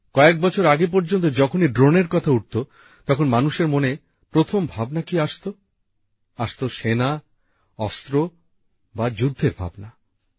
কয়েক বছর আগে পর্যন্ত যখনই ড্রোনের কথা উঠত তখন মানুষের মনে প্রথম ভাবনা কি আসত আসত সেনা অস্ত্র বা যুদ্ধের ভাবনা